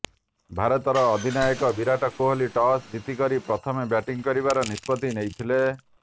ଭାରତର ଅଧିନାୟକ ବିରାଟ କୋହଲି ଟସ୍ ଜିତିକରି ପ୍ରଥମେ ବ୍ୟାଟିଂ କରିବାର ନିଷ୍ପତି ନେଇଥିଲେ